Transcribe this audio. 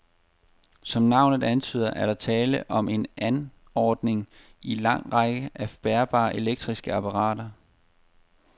Som navnet antyder, er der tale om en anordning i en lang række af bærbare elektriske apparater.